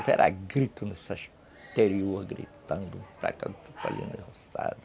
Eu era grito nessa exterior, gritando, para cada